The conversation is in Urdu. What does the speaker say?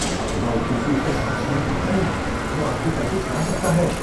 اپنا او ٹی پی اس کے ساتھ شیئر نہ کریں۔ وہ آپ کے پیسے چرا سکتا ہے۔